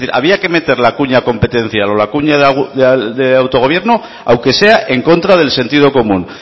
había que meter la cuña competencial o la cuña de autogobierno aunque sea en contra del sentido común